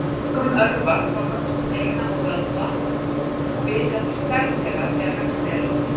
Einkum örvar það vöxt beina og vöðva og viðheldur stærð þeirra þegar vexti er lokið.